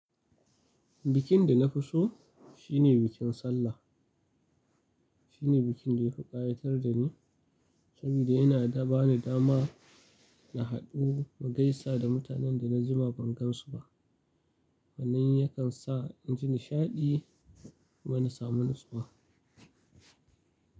Bikin da na fi so shine bikin Sallah. Shine bikin da ya fi ƙayatar da ni, saboda yana ba ni dama na haɗu na gaisa da mutanen da na jima ban gan su ba. Sannan yakan sa inji nishaɗi kuma na samu nutsuwa.